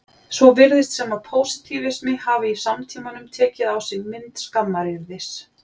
Svo virðist sem að pósitífismi hafi í samtímanum tekið á sig mynd skammaryrðis.